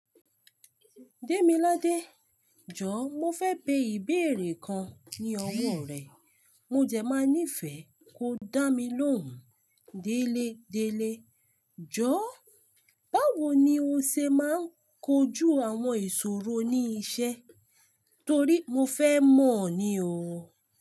Démiládé, jọ̀ọ́ mọ fẹ́ bẹ ìbéèrè kan ní ọwọ́ rẹ̀. Mo dẹ máa níìfẹ̀ kó dá mi lóhùn. Délé, Délé, jọ̀ọ́ báwo ni o ṣe máa ń kojú àwọn ìṣòro ní isẹ́ torí mo fẹ́ mọ̀ ni o.